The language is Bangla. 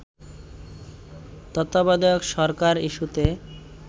তত্ত্বাবধায়ক সরকার ইস্যুতে